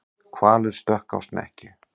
Hvalur stökk á snekkju